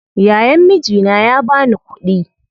Yayan mijina ya bani kuɗi